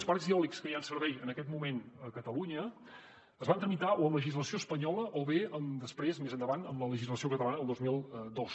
els parcs eòlics que hi ha en servei en aquest moment a catalunya es van tramitar o amb legislació espanyola o bé després més endavant amb la legislació catalana del dos mil dos